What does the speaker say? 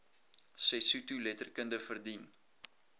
sesotho letterkunde verdien